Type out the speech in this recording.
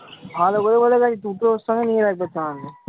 ভালো করে বলে আরকি দুটোর সঙ্গে নিয়ে রাখবতো আমি।